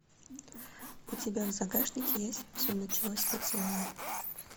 у тебя в загашнике есть все началось с поцелуя